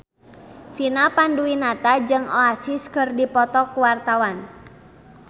Vina Panduwinata jeung Oasis keur dipoto ku wartawan